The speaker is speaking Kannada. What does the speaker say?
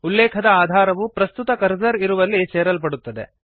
ಉಲ್ಲೇಖದ ಆಧಾರವು ಪ್ರಸ್ತುತ ಕರ್ಸರ್ ಇರುವಲ್ಲಿ ಸೇರಲ್ಪಡುತ್ತದೆ